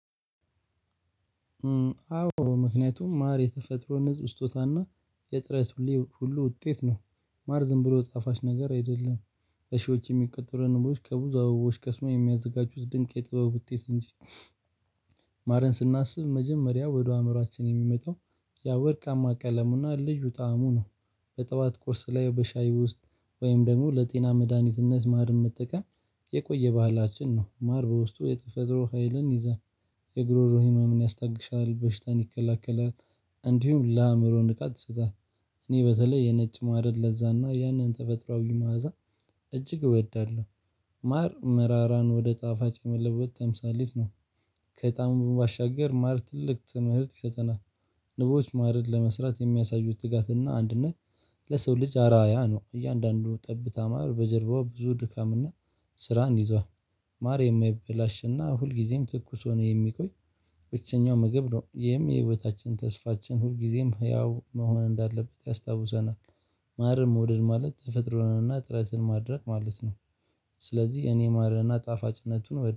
አዎ ምክንያቱም ማር የተፈጥሮ ንጹህ ስጦታና የጥረት ሁሉ ውጤት ነው። ማር ዝም ብሎ ጣፋጭ ነገር አይደለም። በሽዎች የሚቀጥሩ ንቦች ከብዙ አበቦች ከስሞ የሚያዘጋጁት ድንቅ የጥበብ ውጤት እንጂ። ማረን ስናስብ መጀመሪያ ወደ አይምሯአችን የሚመጣው ያ ወርቃማ ቀለምና ልዩ ጣዕሙ ነው። በጠዋት ቁርስ ላይ በሻይ ውስጥ ወይም ደግሞ ለጤና መድሃኒትነት ማር መጠቀም የቆየ ባህላችን ነው። ማር በውስጡ የተፈጥሮ ሀይልን ይዘን የጎሮሮ ህመምን ያስታግሳል በሽታን ይከለክላል። እንዲሁም ለአይምሮ ንቃት ትሰጣለች። እኔ በተለይ የነጭ ማድረግ ለዛና ያንን ተፈጥሮአዊ ማዕዛ እጅግ እወዳለሁ። ማር መራራን ወደ ጣፋጭ መለወጥ ተምሳሌት ነው። ከጣዕሙ በማሻገር ማር ትልቅ ትምህርት ይሰጠናል። ንቦች ማርን ለመስራት የሚያሳዩት ትጋትና አንድነት ለሰው ልጅ አራያ ነው። እያንዳንዱ ጠብታ ማር በጀርባው ብዙ ድካምና ስራን ይዟል። ማር የማይበላሽና ሁልጊዜም ትኩስ ሆኖ የሚቆይ ብቸኛው ምግብ ነው። ይሄም የህይወታችን ተስፋችን ሁልጊዜም ህያው መሆን እንዳለበት ያስታውሰናል። ማርም መወደድ ማለት ተፈጥሮንና ጥረትን ማድረግ ማለት ነው። ስለዚህ እኔ ማርና ጣፋጭነቱን